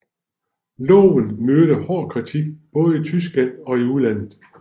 Loven mødte hård kritik både i Tyskland og i udlandet